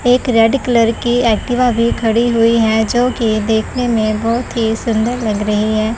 एक red colour की Activa भी खड़ी हुई है जो की देखने में बहुत ही सुंदर लग रही है।